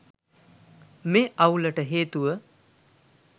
මේ අවුලට හේතුව